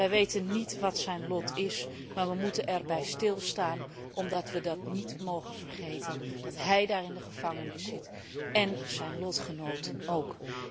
Wij weten niet wat zijn lot is, maar we moeten erbij stilstaan omdat we niet mogen vergeten dat hij daar in de gevangenis zit en zijn lotgenoten ook.